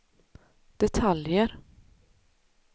detaljer